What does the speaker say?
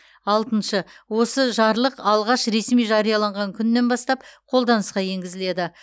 алтыншы осы жарлық алғаш ресми жарияланған күнінен бастап қолданысқа енгізіледі